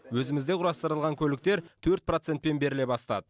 өзімізде құрастырылған көліктер төрт процентпен беріле бастады